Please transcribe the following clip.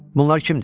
Bunlar kimdir?